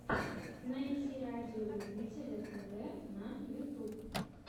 найти радиолюбителя тв на ютьюбе